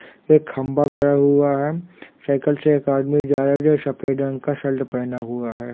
एक खम्बा गड़ा हुआ साइकिल से एक आदमी जारा सफेद रंग का शल्ट पहना हुआ है।